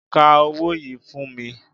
Ka owó yìí fún mi